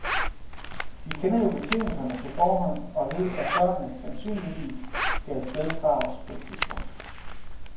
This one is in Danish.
Vi kender jo betingelserne på forhånd og ved, at børnene sandsynligvis skal af sted fra os på et tidspunkt.